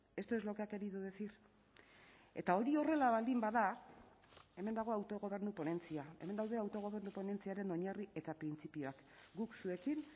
esto es lo que ha querido decir eta hori horrela baldin bada hemen dago autogobernu ponentzia hemen daude autogobernu ponentziaren oinarri eta printzipioak guk zuekin